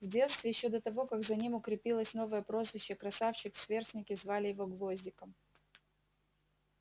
в детстве ещё до того как за ним укрепилось новое прозвище красавчик сверстники звали его гвоздиком